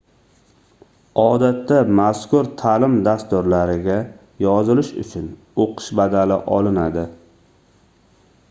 odatda mazkur taʼlim dasturlariga yozilish uchun oʻqish badali olinadi